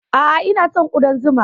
A'a, ina son ƙudan zuma.